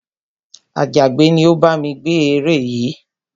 Àjàgbẹ́ ni ó bá mi gbẹ́ ère yìí